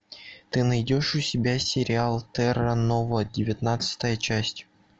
ты найдешь у себя сериал терра нова девятнадцатая часть